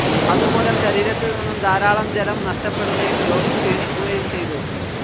അതുമൂലം ശരീരത്തിൽ നിന്നും ധാരാളം ജലം നഷ്ടപ്പെടുകയും രോഗി ക്ഷീണിക്കുകയും ചെയ്തു.